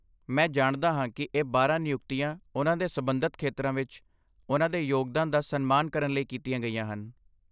ਮੈਂ ਜਾਣਦਾ ਹਾਂ ਕੀ ਇਹ ਬਾਰਾਂ ਨਿਯੁਕਤੀਆਂ ਉਨ੍ਹਾਂ ਦੇ ਸਬੰਧਤ ਖੇਤਰਾਂ ਵਿੱਚ ਉਨ੍ਹਾਂ ਦੇ ਯੋਗਦਾਨ ਦਾ ਸਨਮਾਨ ਕਰਨ ਲਈ ਕੀਤੀਆਂ ਗਈਆਂ ਹਨ